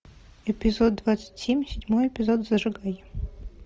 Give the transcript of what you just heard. эпизод двадцать семь седьмой эпизод зажигай